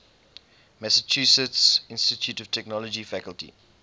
massachusetts institute of technology faculty